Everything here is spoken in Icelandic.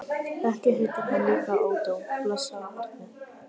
Ekki heitir hann líka Ódó, blessað barnið.